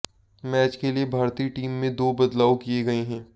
match के लिए भारतीय टीम में दो बदलाव किए गए हैं